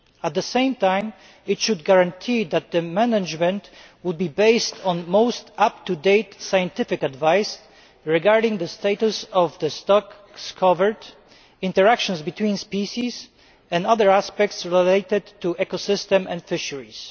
At the same time, it should guarantee that management is based on the most up to date scientific advice regarding the status of the stocks covered, interactions between species and other aspects related to the ecosystem and fisheries.